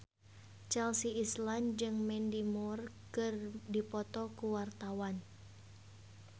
Chelsea Islan jeung Mandy Moore keur dipoto ku wartawan